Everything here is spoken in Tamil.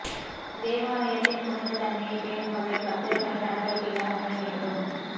தேவாலயத்தின் புனித தன்மையைப் பேணும் வகையில் பக்தர்களின் நடவடிக்கைகள் அமைய வேண்டும்